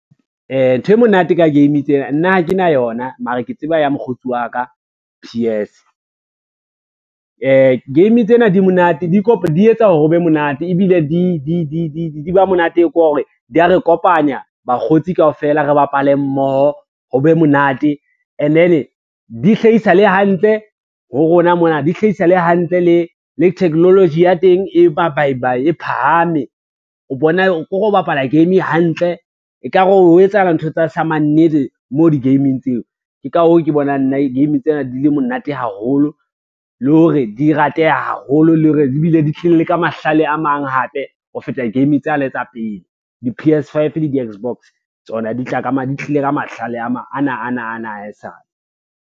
Ntho e monate ka game tsena, nna ha ke na yona mara ke tseba ya mokgotsi wa ka P_S. Game tsena di monate di etsa hore ho be monate, ebile di ba monate ko re di a re kopanya bakgotsi kaofela re bapale mmoho ho be monate and then di hlahisa le hantle ho rona mona, di hlahisa le hantle le technology ya teng e bayibayi e phahame, kore o bapala game hantle ekare o etsahala ntho tsa samannete mo di-game-ing tseo. Ke ka hoo ke bonang nna game tsena di le monate haholo le hore di rateha haholo le hore di bile di tlile le ka mahlale a mang hape ho feta game tsane tsa pele, diP_S five le di-X-box tsona di tlile ka mahlale a mang, ana ana ana a e sale.